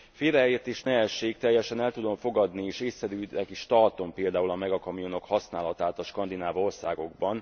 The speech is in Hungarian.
Félreértés ne essék, teljesen el tudom fogadni és ésszerűnek is tartom például a megakamionok használatát a skandináv országokban.